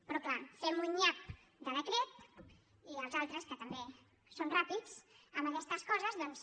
però clar fem un nyap de decret i els altres que també són ràpids amb aquestes coses doncs